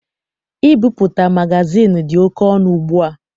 Ibipụta magazịịnụ dị oke ọnụ ugbua.